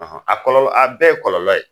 a kɔlɔlɔ , a bɛɛ ye kɔlɔlɔ ye.